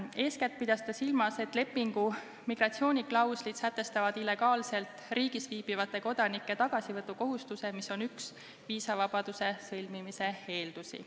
Eeskätt pidas ta silmas, et lepingu migratsiooniklauslid sätestavad illegaalselt riigis viibivate kodanike tagasivõtukohustuse, mis on üks viisavabaduse sõlmimise eeldusi.